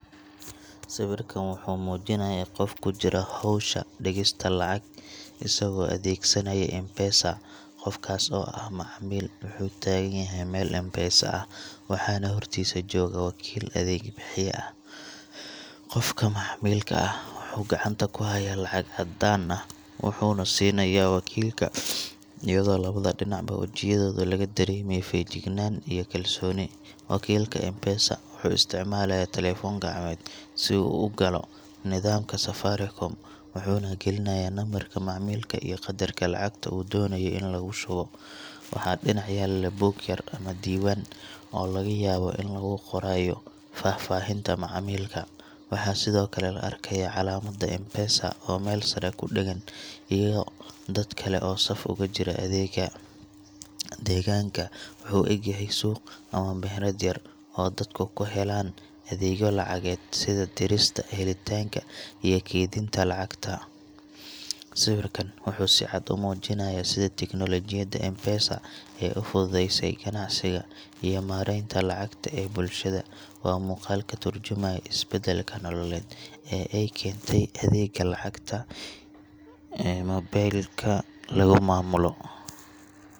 Sawirkan wuxuu muujinayaa qof ku jira howsha dhigista lacag isagoo adeegsanaya M-Pesa. Qofkaas oo ah macmiil wuxuu taagan yahay meel M-Pesa ah, waxaana hortiisa jooga wakiil adeeg bixiye ah. Qofka macmiilka ah wuxuu gacanta ku hayaa lacag caddaan ah, wuxuuna siinayaa wakiilka, iyadoo labada dhinacba wejiyadooda laga dareemayo feejignaan iyo kalsooni. Wakiilka M-Pesa wuxuu isticmaalayaa taleefan gacmeed si uu u galo nidaamka Safaricom, wuxuuna gelinayaa lambarka macmiilka iyo qadarka lacagta uu doonayo in lagu shubo. Waxaa dhinac yaalla buug yar ama diiwaan, oo laga yaabo in lagu qorayo faahfaahinta macaamilka. Waxaa sidoo kale la arkayaa calaamadda M-Pesa oo meel sare ku dheggan, iyo dad kale oo saf ugu jira adeegga. Deegaanka wuxuu u eg yahay suuq ama meherad yar oo dadku ku helaan adeegyo lacageed sida dirista, helitaanka, iyo kaydinta lacagaha. Sawirkan wuxuu si cad u muujinayaa sida tiknoolajiyadda M-Pesa ay u fududeysay ganacsiga iyo maaraynta lacagta ee bulshada. Waa muuqaal ka tarjumaya isbeddelka nololeed ee ay keentay adeegga lacagta ee mobilka lagu maamulo.